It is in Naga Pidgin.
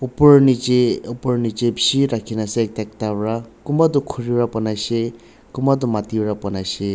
Opor nechi opor nechi beshi rakhina ase ekta ekta pra kunba tuh khuri para banaishe kunba tuh mati para banaishe.